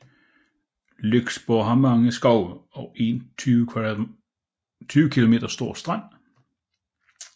Lyksborg har mange skove og en 20 km stor strand